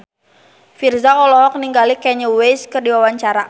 Virzha olohok ningali Kanye West keur diwawancara